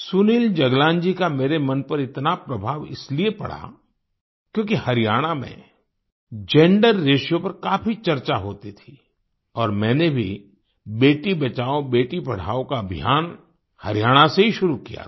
सुनील जगलान जी का मेरे मन पर इतना प्रभाव इसलिए पड़ा क्योंकि हरियाणा में जेंडर रेशियो पर काफी चर्चा होती थी और मैंने भी बेटी बचाओबेटी पढाओ का अभियान हरियाणा से ही शुरू किया था